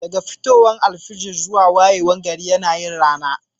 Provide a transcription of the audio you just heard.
Daga fitowar alfijir zuwa wayewar gari yana yin rana